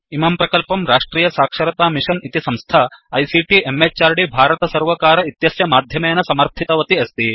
इमं प्रकल्पं राष्ट्रियसाक्षरतामिषन् इति संस्था आईसीटी म्हृद् भारतसर्वकार इत्यस्य माध्यमेन समर्थितवती अस्ति